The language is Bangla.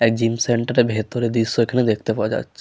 এক জিম সেন্টার এর ভেতরের দৃশ্য এখানে দেখতে পাওয়া যাচ্ছে।